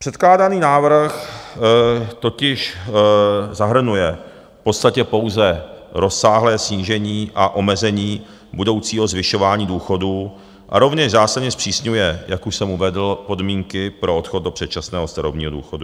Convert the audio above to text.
Předkládaný návrh totiž zahrnuje v podstatě pouze rozsáhlé snížení a omezení budoucího zvyšování důchodů a rovněž zásadně zpřísňuje, jak už jsem uvedl, podmínky pro odchod do předčasného starobního důchodu.